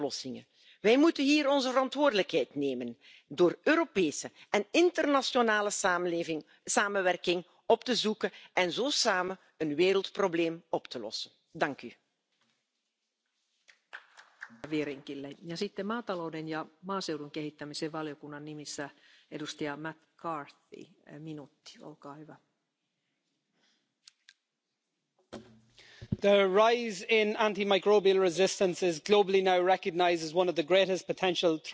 Aber an einer Stelle müssen wir morgen noch etwas verbessern Ich möchte Sie bitten, mit mir zusammen die Erwägung 63 zu streichen, denn die verlangt die Kennzeichnung von Lebensmitteln bezüglich der Verwendung von Antibiotika bei Nutztieren. Das ist unnötig und käme sogar einer Unterstellung zum Nachteil der konventionellen Landwirtschaft gleich, denn tierische Erzeugnisse dürfen ja sowieso nur antibiotikafrei in den Handel gebracht werden. Deshalb sind ja entsprechende Wartezeiten nach Medikamenteneinsatz in der Tierhaltung vorgeschrieben.